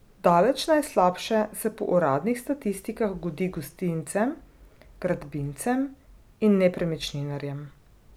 Daleč najslabše se po uradnih statistikah godi gostincem, gradbincem in nepremičninarjem.